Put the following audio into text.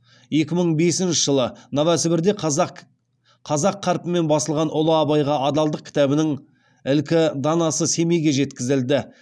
екі мың бесінші жылы новосібірде қазақ қарпімен басылған ұлы абайға адалдық кітабының ілкі данасы семейге жеткізілді